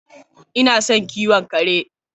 Ina son kiwon kare.